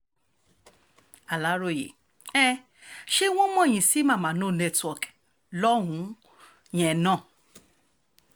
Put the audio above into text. aláròye um ṣé wọ́n mọ̀ yín sí mama no network lọ́hùn-ún yẹn um náà